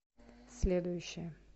следующая